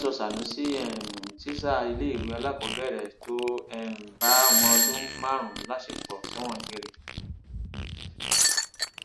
wọn ti sọ sànúsì um tísà iléèwé alákọọbẹrẹ tó um bá ọmọọdún márùnún láṣepọ sẹwọn gbére